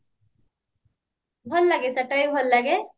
ଭଲ ଲାଗେ ସେଟାବି ଭଲ ଲାଗେ